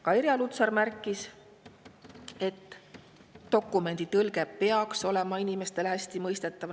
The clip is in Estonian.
Ka Irja Lutsar märkis, et dokumendi tõlge peaks olema inimestele hästi mõistetav.